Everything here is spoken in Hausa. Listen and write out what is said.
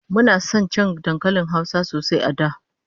Muna son cin dankalin Hausa sosai a da